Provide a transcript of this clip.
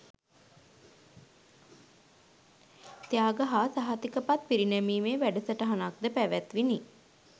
ත්‍යාග හා සහතිකපත් පිරිනැමීමේ වැඩසටහනක්ද පැවැත්විණි.